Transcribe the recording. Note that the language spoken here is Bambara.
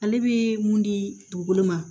Ale bɛ mun di dugukolo ma